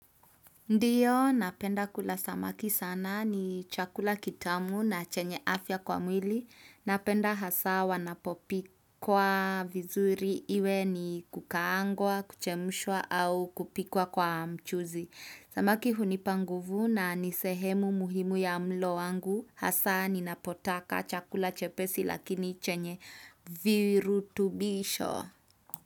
Ndiyo, napenda kula samaki sana ni chakula kitamu na chenye afya kwa mwili. Napenda hasa wanapopikwa vizuri iwe ni kukaangwa, kuchemushwa au kupikwa kwa mchuzi. Samaki hunipa nguvu na ni sehemu muhimu ya mlo wangu. Hasa ninapotaka chakula chepesi lakini chenye virutubisho.